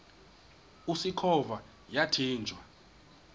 usikhova yathinjw a